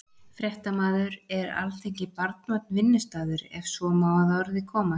Fréttamaður: Er Alþingi barnvænn vinnustaður, ef svo má að orði komast?